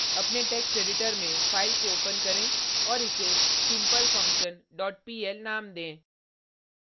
अपने text editor में file को ओपन करें और इसे simplefunction dot pl नाम दें